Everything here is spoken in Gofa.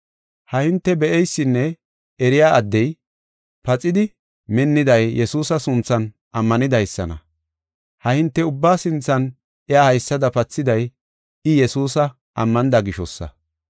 Ha hinte be7eysinne eriya addey, paxidi minniday Yesuusa sunthan ammanidaysana. Ha hinte ubba sinthan iya haysada pathiday, I Yesuusa ammanida gishosa.